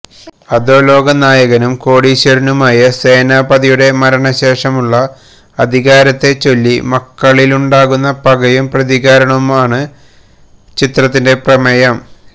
അധോലാക നായകനും കോടീശ്വരനുമായ സേനാപതിയുടെ മരണശേഷമുളള അധികാരത്തെചൊല്ലി മക്കളിലുണ്ടാകുന്ന പകയും പ്രതികാരവുമാണ് ചിത്രത്തിന്റെ പ്രമേയം